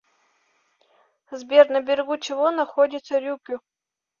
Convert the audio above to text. сбер на берегу чего находится рюкю